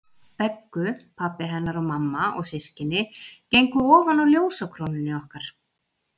Beggu, pabbi hennar og mamma og systkini gengu ofan á ljósakrónunni okkar.